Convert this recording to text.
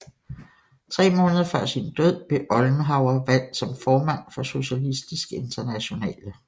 Tre måneder før sin død blev Ollenhauer valgt som formand for Socialistisk Internationale